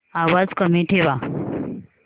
आवाज कमी ठेवा